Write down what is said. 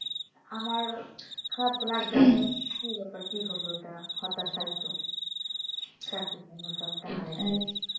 আমার খারাপ লাগবেই তো কি ব্যাপার কি হলো এটা হতাশাই তো চাকরি কেন job টা কেন হারাইলাম